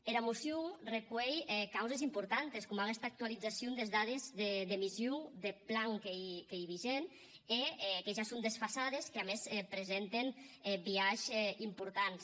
era mocion recuelh causes importantes coma aguesta actualizacion des dades d’emissions deth plan qu’ei vigent e que ja son desfasades que a mès presenten biaishs importants